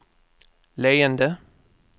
leende